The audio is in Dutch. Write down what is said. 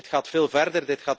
Dit gaat veel verder.